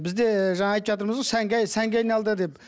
бізде жаңа айтып жатырмыз ғой сәнге сәнге айналды деп